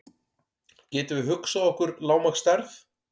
Getum við hugsað okkur lágmarksstærð?